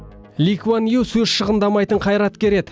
ли куан ю сөз шығындамайтын қайраткер еді